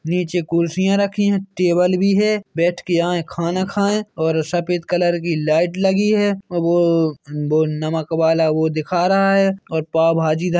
नीचे कुर्सियां रखी है टेबल भी है बैठे के यहाँ खाना खाये और सफ़ेद कलर की लाइट लगी है और बो-बो नमक वाला वो दिखा रहा है और पाव भाजी--